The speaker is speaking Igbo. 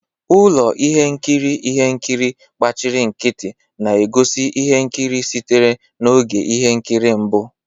Ụlọ ihe nkiri ihe nkiri gbachiri nkịtị na-egosi ihe nkiri sitere na oge ihe nkiri mbụ.